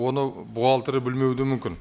оны бухгалтері білмеуі де мүмкін